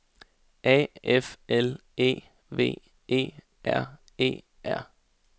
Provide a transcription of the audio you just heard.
A F L E V E R E R